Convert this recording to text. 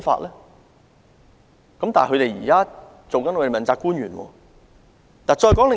他現在卻出任政府的問責官員。